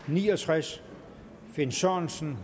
ni og tres finn sørensen